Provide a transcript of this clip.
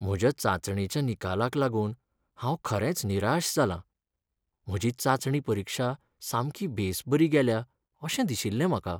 म्हज्या चांचणेच्या निकालाक लागून हांव खरेंच निराश जालां. म्हजी चांचणी परीक्षा सामकी बेसबरी गेल्या अशें दिशिल्लेंं म्हाका.